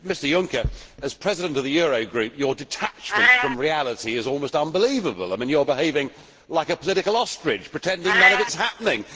Mr President, Mr Juncker, as President of the Eurogroup your detachment from reality is almost unbelievable. You are behaving like a political ostrich, pretending none of it is happening.